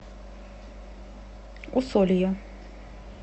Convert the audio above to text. усолье